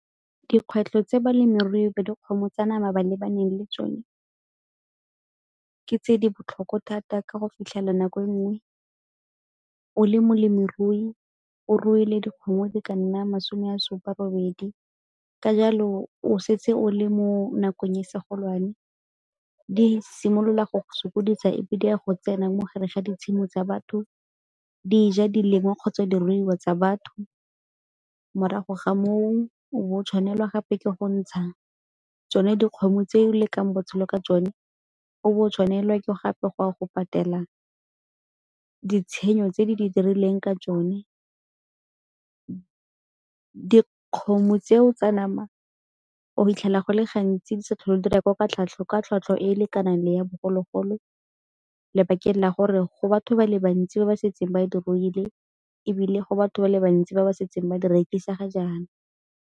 Dikgwetlho tse balemirui ba dikgomo tsa nama ba lebaneng le tsone ke tse di botlhoko thata ka go fitlhela nako e nngwe o le molemirui, o ruile dikgomo di ka nna masome ya supa robedi, ka jalo o setse o le mo nakong e se golwane. Di simolola go sokodisa epe di a go tsena mo gare ga di tshimo tsa batho, di ja di lengwa kgotsa diruiwa tsa batho, morago ga moo o tshwanelwa gape ke go ntsha tsone dikgomo tse o lekang botshelo ka tsone. O bo tshwanelwa ke gape go a go patela ditshenyego tse di di dirilweng ka tsone. Dikgomo tseo tsa nama o 'itlhela go le gantsi di sa tlhole di rekwa ka tlhwatlhwa e e lekanang ya bogologolo, lebakeng la gore go batho ba le bantsi ba ba setseng ba di ruile ebile go batho ba le bantsi ba ba setseng ba di rekisa ga jaana.